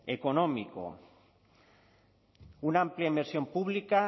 económico una amplia inversión pública